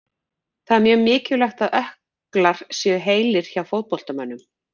Það er mjög mikilvægt að ökklar séu heilir hjá fótboltamönnum.